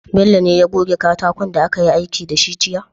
Bello ne ya goge katakon da akayi aiki da shi jiya?